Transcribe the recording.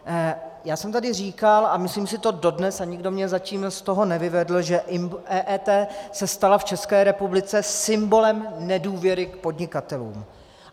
Já jsem tady říkal, a myslím si to dodnes a nikdo mě zatím z toho nevyvedl, že EET se stala v České republice symbolem nedůvěry k podnikatelům.